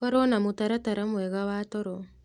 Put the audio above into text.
Korwo na mũtaratara mwega wa toro